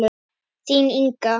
Þín, Inga.